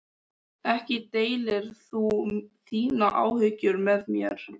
Ekki deilir þú þínum áhyggjum með mér.